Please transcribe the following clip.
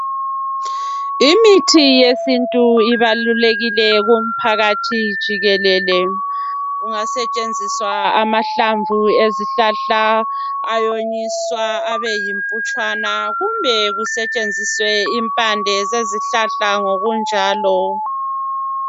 Imithi yesintu ibalukekile kumphakathi jikelele kungasetshenziswa amahlamvu ezihlahla ayonyiswa abe yimputshana kumbe kusetshenziswe impande zezihlahla ngokunjalo.